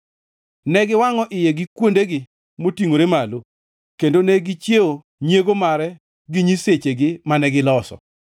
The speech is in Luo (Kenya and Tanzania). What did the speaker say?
Ne giwangʼo iye gi kuondegi motingʼore malo, kendo ne gichiewo nyiego mare gi nyisechegi mane giloso.